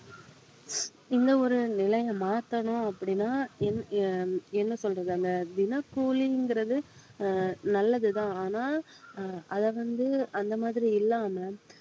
இந்த ஒரு நிலையை மாத்தணும் அப்படின்னா என்~ அஹ் என்ன சொல்றது அந்த தினக்கூலிங்கறது அஹ் நல்லதுதான் ஆனா அஹ் அதை வந்து அந்த மாதிரி இல்லாம